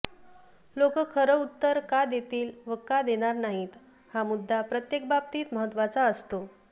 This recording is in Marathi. लोक खरं उत्तर का देतील व का देणार नाहीत हा मुद्दा प्रत्येक बाबतीत महत्वाचा असतो